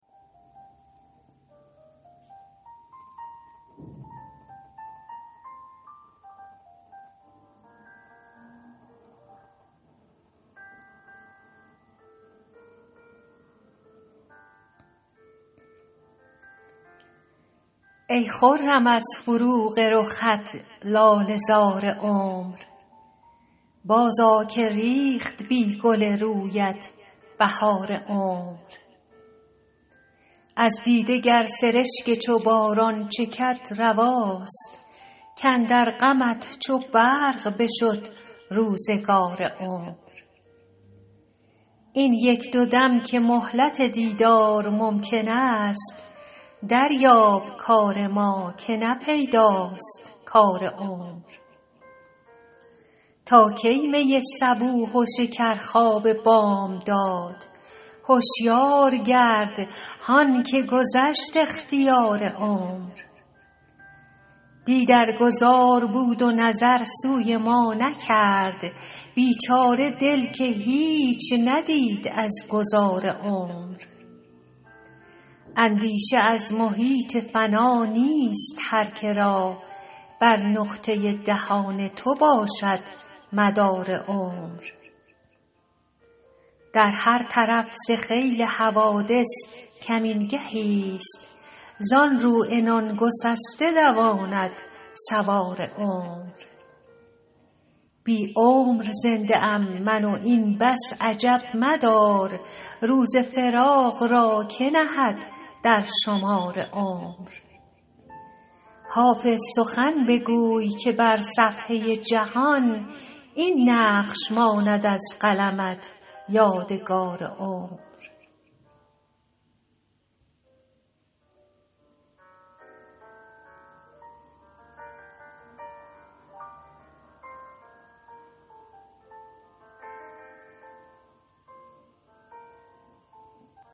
ای خرم از فروغ رخت لاله زار عمر بازآ که ریخت بی گل رویت بهار عمر از دیده گر سرشک چو باران چکد رواست کاندر غمت چو برق بشد روزگار عمر این یک دو دم که مهلت دیدار ممکن است دریاب کار ما که نه پیداست کار عمر تا کی می صبوح و شکرخواب بامداد هشیار گرد هان که گذشت اختیار عمر دی در گذار بود و نظر سوی ما نکرد بیچاره دل که هیچ ندید از گذار عمر اندیشه از محیط فنا نیست هر که را بر نقطه دهان تو باشد مدار عمر در هر طرف ز خیل حوادث کمین گهیست زان رو عنان گسسته دواند سوار عمر بی عمر زنده ام من و این بس عجب مدار روز فراق را که نهد در شمار عمر حافظ سخن بگوی که بر صفحه جهان این نقش ماند از قلمت یادگار عمر